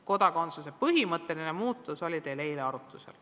Kodakondsust puudutav põhimõtteline muudatus oli teil eile arutusel.